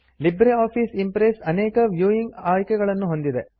Libre Office Impress ಅನೇಕ viewing ಆಯ್ಕೆಯನ್ನು ಹೊಂದಿದೆ